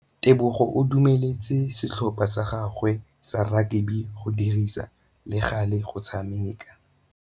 Tebogô o dumeletse setlhopha sa gagwe sa rakabi go dirisa le galê go tshameka.